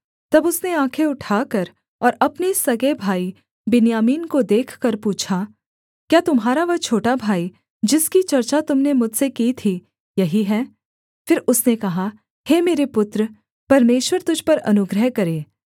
तब उसने आँखें उठाकर और अपने सगे भाई बिन्यामीन को देखकर पूछा क्या तुम्हारा वह छोटा भाई जिसकी चर्चा तुम ने मुझसे की थी यही है फिर उसने कहा हे मेरे पुत्र परमेश्वर तुझ पर अनुग्रह करे